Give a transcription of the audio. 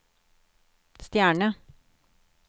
stjerne